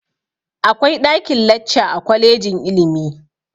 Akwai ɗakin-lacca a kwalejin ilimi.